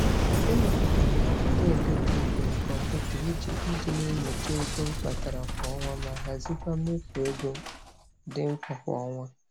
E mepụtara m akwụkwọ eletrik na kọmputa iji iji na-enyocha ego m kpatara kwa ọnwa ma hazikwa mmefu ego dị mkpa kwa ọnwa.